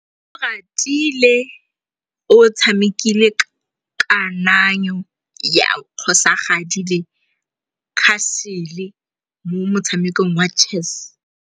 Oratile o tshamekile kananyô ya kgosigadi le khasêlê mo motshamekong wa chess.